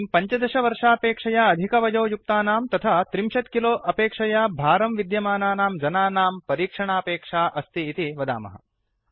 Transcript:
इदानीं १५ वर्षापेक्षया अधिकवयोयुक्तानां तथा ३० किलो अपेक्षया भारं विद्यमानानां जनानां परीक्षणापेक्षा अस्ति इति वदामः